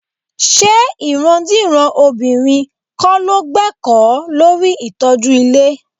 Ṣé ìrandíran obìnrin kọ́ ló gbẹ́kọ̀ọ́ lórí ìtọ́jú ilé?